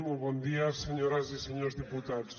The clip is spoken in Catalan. molt bon dia senyores i senyors diputats